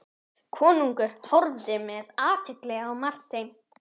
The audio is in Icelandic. Konungur horfði með athygli á Martein.